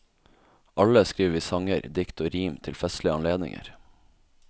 Alle skriver vi sanger, dikt og rim til festlige anledninger.